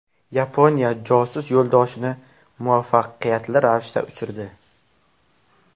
Yaponiya josus yo‘ldoshini muvaffaqiyatli ravishda uchirdi.